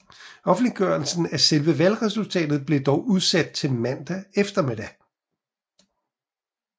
Offentliggørelse af selve valgresultatet blev dog udsat til mandag eftermiddag